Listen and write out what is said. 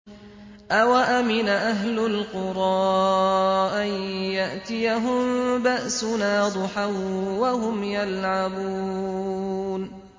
أَوَأَمِنَ أَهْلُ الْقُرَىٰ أَن يَأْتِيَهُم بَأْسُنَا ضُحًى وَهُمْ يَلْعَبُونَ